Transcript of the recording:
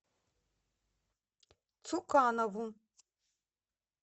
цуканову